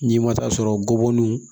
N'i ma taa sɔrɔ bɔbɔnin